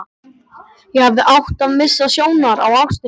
Ég hefði átt að missa sjónar á ástinni.